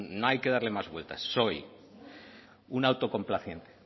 no hay que darle más vueltas soy un autocomplaciente